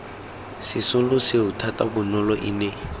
sesolo seo thata bonolo ene